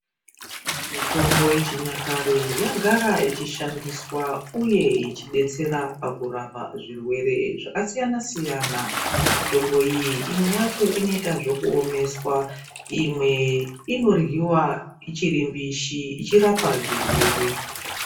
Mitombo yechinyakare yagara ichishandiswa uye ichidetsera pakurapa zvirwere zvakasiyana siyana mitombo iyi imwe yacho inoita zvekuomeswa Imwe inoryiwa ichiri mbishi ichirapa zvirwere.